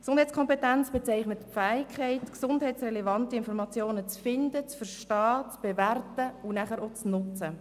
Die Gesundheitskompetenz ist die Fähigkeit, gesundheitsrelevante Informationen zu finden, zu verstehen, zu bewerten und auch zu nutzen.